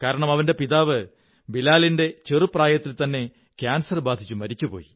കാരണം അവന്റെ പിതാവ് ബിലാലിന്റെ ചെറുപ്രായത്തില്ത്തവന്നെ കാന്സ ർ ബാധിച്ച് മരിച്ചു